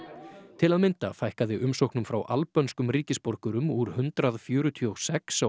til að mynda fækkaði umsóknum frá albönskum ríkisborgurum úr hundrað fjörutíu og sex á